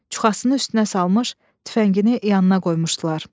Çuxasını üstünə salmış, tüfəngini yanına qoymuşdular.